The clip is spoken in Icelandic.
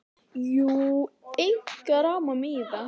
Jú, eitthvað rámar mig í það.